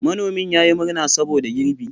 Manomin ya yi murna saboda girbi.